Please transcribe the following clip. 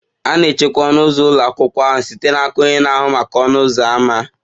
A na-echekwa ọnụ ụzọ ụlọ akwụkwọ ahụ site n'aka onye na-ahụ maka ọnụ ụzọ ámá.